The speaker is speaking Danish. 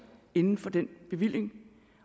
inden for den bevilling